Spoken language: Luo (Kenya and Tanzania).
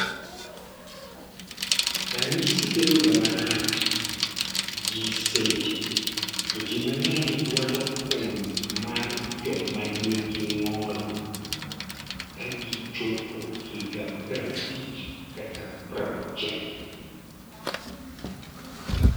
Ranyisi bedo ga marach gi seche to jii mang'eny dwaro kom mar joma nigi ng'ol ka gichopo higa prabich kata prauchiel